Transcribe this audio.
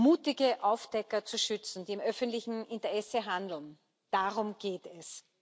Mutige Aufdecker zu schützen, die im öffentlichen Interesse handeln Darum geht es!